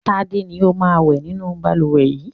Tád ni ó máa ń wẹ̀ nínú balùwẹ̀ yìí.